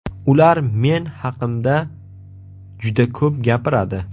Ular men haqimda juda ko‘p gapiradi.